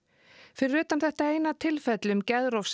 fyrir utan þetta eina tilfelli um